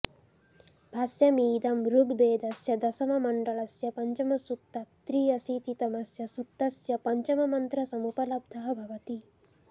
भाष्यमिदं ऋग्वेदस्य दशममण्डलस्य अापञ्चमसूक्तात् त्र्यशीतितमस्य सूक्तस्य पञ्चममन्त्रसमुपलब्धः भवति